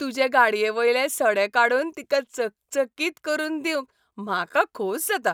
तुजे गाडयेवयले सडे काडून तिका चकचकीत करून दिवंक म्हाका खोस जाता.